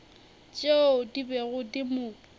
tšeo di bego di mo